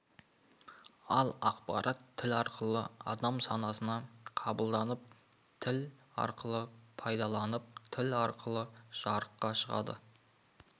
ал ақпарат тіл арқылы адам санасына қабылданып тіл арқылы пайымдалып тіл арқылы жарыққа шығады